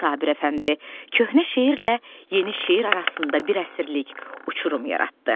Sabir Əfəndi köhnə şeirlə yeni şeir arasında bir əsirlik uçurum yaratdı.